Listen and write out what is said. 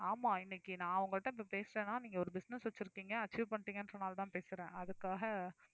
ஆமா இன்னைக்கு நான் உங்கள்ட்ட இப்ப பேசுறேன்னா நீங்க ஒரு business வச்சிருக்கீங்க achieve பண்ணிட்டீங்கன்னு சொன்னதுனாலதான் பேசுறேன் அதுக்காக